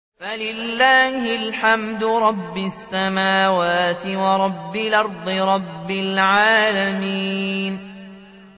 فَلِلَّهِ الْحَمْدُ رَبِّ السَّمَاوَاتِ وَرَبِّ الْأَرْضِ رَبِّ الْعَالَمِينَ